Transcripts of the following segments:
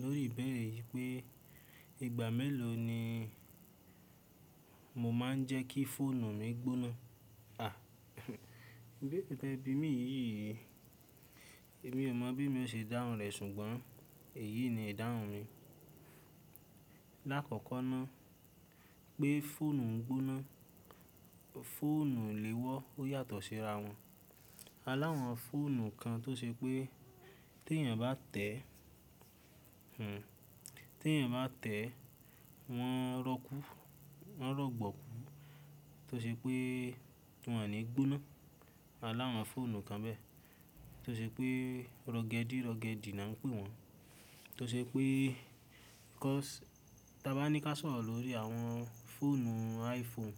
Lórí ibêrè yí pé ìgbà mélòó ni mo máa ń jẹ́ kí fóònù mi gbóná? Àh, ìběrè tí ẹ̀bi mi yìí, èmi ò mọ̀ bí mo ṣe dáhùn rẹ̀ ṣùgbọ́n èyí ni ìdáhùn mi. Láàkọ́kọ́ náà pé fóònù ń gbóná, fóònù ilèwọ́ ó yàtọ̀ síra wọn. A l'áwọn fóònù kan tó ṣe pé tí èèyàn bá tẹ̀, tí èèyàn bá tẹ̀ wọ́n rọ́kú, wọ́n rọ̀gbòkú tó ṣe pé wọn ò ní gbóná. Aláwọn fóònù kan bẹ́ẹ̀ tó ṣe pé, rọgẹdi, rọgẹdi la ń pè wọ́n. Tó ṣe pé ká, tí a bá ní ká sọ̀rọ̀ lórí àwọn fóònù iPhone,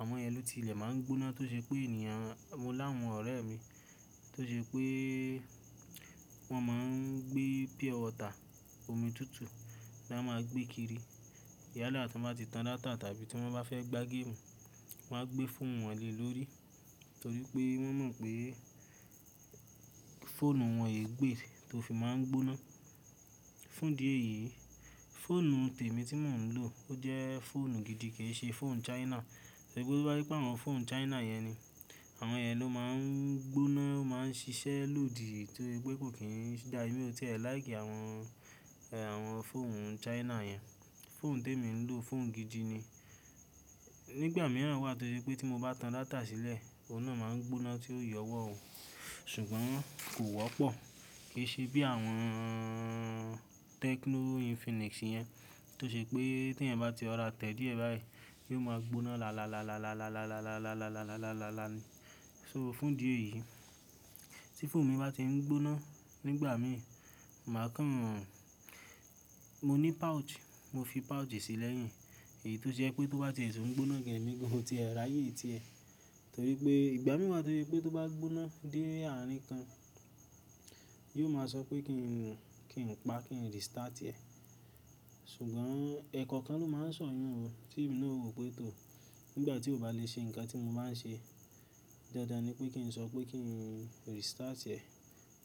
àwọn yẹn ló ti ilẹ̀ máa ń gbóná tó ṣe pé èèyàn, mo láwọn ọ̀rẹ́ mi tó ṣe pé wọ́n máa ń gbé pure water, omi tútù la máa gbé kiri. Yálà tí wọ́n bá ti tan data tàbí tí wọ́n bá fẹ́ gbá game, wọ́n á gbé fóònù wọn le lórí torí pé wọ́n mọ̀ pé fóònù wọn ì gbé tó fi máa ń gbóná. Fún di èyí, fóònù tèmi tí mò ń lò ó jẹ́ fóònù gidi kì í ṣe fóònù China. Torí pé bá kípé àwọn fóònù China yẹn ni àwọn yẹn ló máa ń gbóná máa ń ṣiṣẹ́ lòdì torí pé kò kín dá èmi o tiẹ̀ láì kí àwọn, àwọn fóònù China yẹn. Fóònù tèmi ń lò fóònù gidi ni. Nígbà mìíràn wà torí pé tí mo bá tan data sílẹ̀, òun náà máa ń gbóná tí ó yọwọ́ ó ṣùgbọ́n kò wọ́pọ̀. Kì í ṣe bí àwọn Tecno, Infinix yẹn tó ṣe pé tí ẹ̀ bá ti rọra tẹ̀ díẹ̀ báyìí yóó máa gbóná làlàlàlàlàlàlàlàlàlàlàlàlàlàlàlà ni. So fún di èyí, tí fóònù mi bá ti ń gbóná nígbà mí, màá kàn, mo ní pouch, mo fi pouch sílẹ̀ yín èyí tó ṣe pé tó bá ti èso ń gbóná gé èmi gan-an tí ẹ, láyé tí ẹ torí pé ìgbà mìíràn wà torí pé tó bá gbóná dé àárín kan, yóò máa sọ pé kí n pa, kí n restart ẹ̀. Ṣùgbọ́n ẹ̀kọ́ọ́kan ló máa ń sọ̀yún o, tí èmi náà ò rò pé tò. Nígbà tí ó bá lè ṣe nǹkan tí mo bá ń ṣe dáadáa ni pé kí n sọ pé kí n restart ẹ̀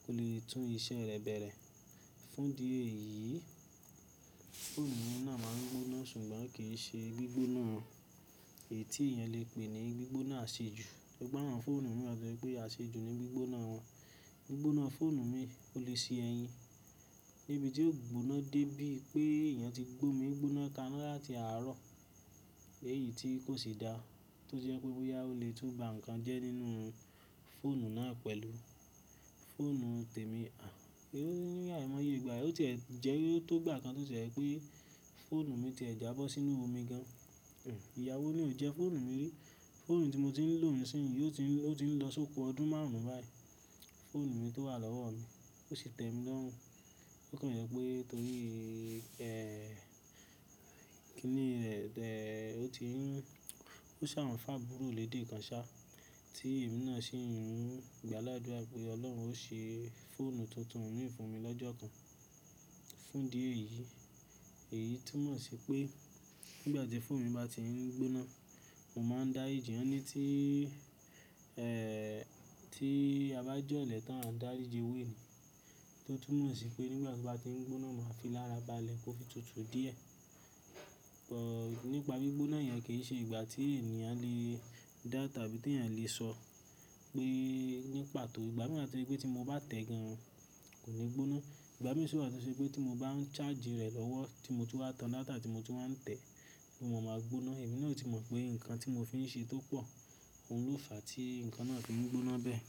kó lè tún iṣẹ́ rẹ̀ bẹ̀rẹ̀. Fún di èyí, fóònù mi náà máa ń gbóná ṣùgbọ́n kì í ṣe gbígbóná èyí tí èèyàn lè pè ní gbígbóná asejù. Sugbọ́n awọ́n fọ́nù mi wà torí pé asejù ni gbígbóná wọn. Gbígbóná fóònù mi ò le ṣe ẹyin níbi tí ó gbóná dé bí i pé èèyàn ti gbó mi gbóná kaná láti àárọ̀, èyí tí kò ṣe dá tó jẹ́ pé boyà ó lè tún bá nǹkan jẹ́ nínú fóònù náà pẹ̀lú fóònù tèmi. À, ìrọ́ ní àìmọye ìgbà, ó tẹ̀ jẹ́ tó gbà kan tó ṣe pé fóònù mi ti ẹ jábọ́ sínú omi gan-an. Ìyà wó ní ò jẹ́ fóònù mi rí, fóònù tí mo ti ń lò nísinsìnyí ó ti ń lọ sóko ọdún márùn-ún báyìí. Fóònù mi tó wà lọ́wọ́ mi, ó ṣe tèmi lọ́rùn. Ó kan jẹ́ pé torí i kí ni rẹ̀ tẹ̀ ó ti ń, ó ṣà n fẹ abúrò lèdé kan ṣá tí èmi náà ṣe ń gbá ládùrá pé Ọlọ́run ó ṣe fóònù tuntun mì fún mi lọ́jọ́ kan. Fún di èyí, èyí túmọ̀ sí pé nígbà tí fóònù mi bá ti ń gbóná, mò máa ń dá ìdí ọ̀nà tí, tí a bá jọ́lẹ̀ tán, a dári jí ewe ni, tó túmọ̀ sí pé nígbà tí ó bá ti ń gbóná, màá fi lára ba lẹ̀ kó fi tutù díẹ̀. Ọ̀, nípa gbígbóná yẹn kì í ṣe ìgbà tí èèyàn lè dá tàbí tí èèyàn lè sọ pé nípa tò. Ìgbà mìíràn wà torí pé tí mo bá tẹ̀ gan-an kò ní gbóná. Ìgbà mi sì wà tó ṣe pé tí mo bá ń charge rẹ̀ lọ́wọ́ tí mo tú bá tan data tí mo tú máa ń tẹ̀ ló máa ń gbóná. Èmi náà ò tí mọ̀ pé nǹkan tí mo fi ń ṣe tó pọ̀ òun ló fàá tí nǹkan náà ti mú gbóná bẹ́ẹ̀.